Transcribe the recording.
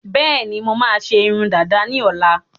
Bẹẹni, mo máa ṣe irun dàda ni ọ̀la